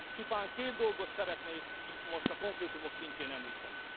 Csupán két dolgot szeretnék itt, most a konkrétumok szintjén említeni.